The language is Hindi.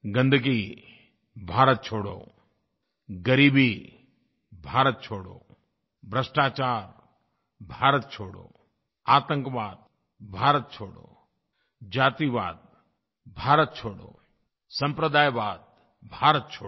गंदगी भारत छोड़ो ग़रीबी भारत छोड़ो भ्रष्टाचार भारत छोड़ो आतंकवाद भारत छोड़ो जातिवाद भारत छोड़ो सम्प्रदायवाद भारत छोड़ो